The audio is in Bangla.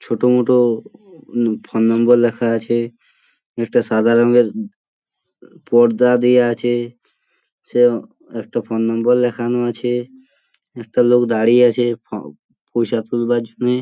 ছোটমোটো ফোন নম্বর লেখা আছে |একটা সাদা রঙের পর্দা দেওয়া আছে | সে উম একটা ফোন নম্বর লেখানো আছে | একটা লোক দাঁড়িয়ে আছে প পয়সা তোলবার জন্য।